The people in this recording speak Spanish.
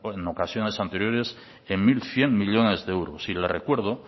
en ocasiones anteriores en mil cien millónes de euros y le recuerdo